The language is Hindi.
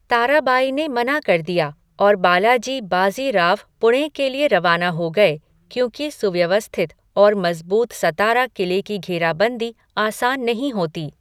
ताराबाई ने मना कर दिया और बालाजी बाज़ी राव पुणे के लिए रवाना हो गए क्योंकि सुव्यवस्थित और मजबूत सतारा क़िले की घेराबंदी आसान नहीं होती।